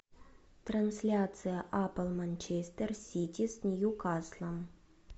трансляция апл манчестер сити с ньюкаслом